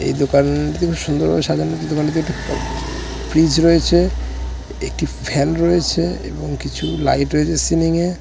এই দোকান টি খুব সুন্দর ভাবে সাজানো দোকানটিতে ফ্রিজ রয়েছে একটি ফ্যান রয়েছে এবং কিছু লাইট রয়েছে সিলিং এ।